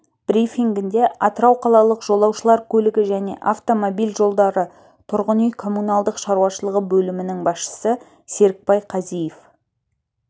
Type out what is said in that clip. брифингінде атырау қалалық жолаушылар көлігі және автомобиль жолдары тұрғын үй-коммуналдық шаруашылығы бөлімінің басшысы серікбай қазиев